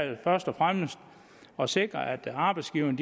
først og fremmest at sikre at arbejdsgiverne